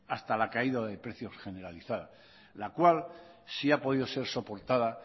hasta la caída del precio generalizado la cual sí ha podido ser soportada